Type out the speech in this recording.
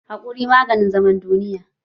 Haƙuri maganin zaman duniya